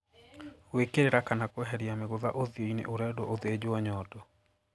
"Gwĩkĩra kana kweheria mĩgũtha ũthiũ-inĩ' ũrendwo ũthĩnjwo nyondo"